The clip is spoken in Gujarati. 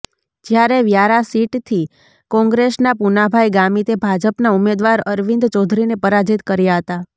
જ્યારે વ્યારા સીટથી કોંગ્રેસનાં પુનાભાઇ ગામીતે ભાજપનાં ઉમેદવાર અરવિંદ ચૌધરીને પરાજીત કર્યા હતા